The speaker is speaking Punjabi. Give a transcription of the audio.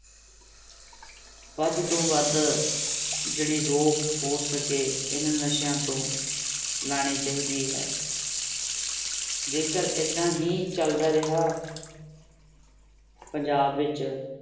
ਵੱਧ ਤੋਂ ਵੱਧ ਜਿਹੜੀ ਰੋਕ ਹੋ ਸਕੇ ਇਹਨਾਂ ਨਸ਼ਿਆਂ ਤੋਂ ਲਾਉਣੀ ਚਾਹੀਦੀ ਹੈ ਜੇਕਰ ਏਦਾਂ ਹੀ ਚੱਲਦਾ ਰਿਹਾ ਪੰਜਾਬ ਵਿੱਚ